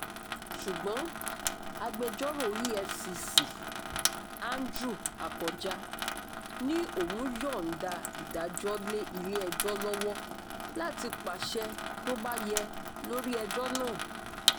ṣùgbọ́n agbẹjọ́rò efcc andrew akọjá ní òún yọ̀ǹda ìdájọ́ lé ilé-ẹjọ́ lọ́wọ́ láti pàṣẹ tó bá yẹ lórí ẹjọ́ náà